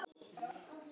Berið fram með klaka.